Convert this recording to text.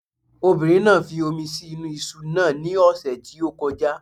Obìnrin náà fi omi sí inú iṣu náà ní ọ̀sẹ̀ tí ó kọjá